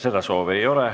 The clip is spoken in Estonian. Seda soovi ei ole.